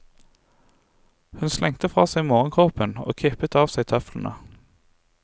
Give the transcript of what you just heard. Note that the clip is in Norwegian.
Hun slengte fra seg morgenkåpen og kippet av seg tøflene.